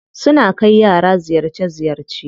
Suna kai yara ziyarce ziyarce.